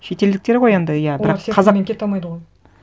шетелдіктер ғой енді иә бірақ қазақ олар серпінмен кете алмайды ғой